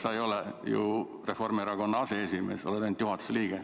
Sa ei ole ju Reformierakonna aseesimees, sa oled ainult juhatuse liige.